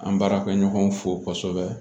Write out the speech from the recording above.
An baarakɛɲɔgɔnw fo kosɛbɛ